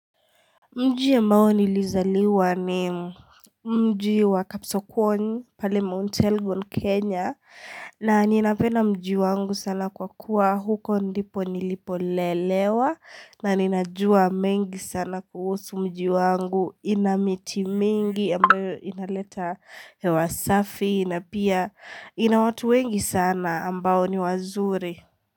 Mjii mbao nilizaliwa ni mjii wa kapsokoni pale Mount Elgon Kenya na ninapenda mjii wangu sana kwa kuwa huko ndipo nilipolelewa na ninajua mengi sana kuhusu mjii wangu ina miti mingi ambayo inaleta hewa safi na pia inawatu wengi sana ambao ni wazuri.